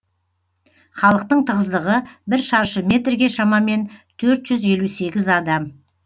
халықтың тығыздығы бір шаршы метрге шамамен төрт жүз елу сегіз адам